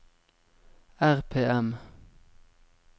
RPM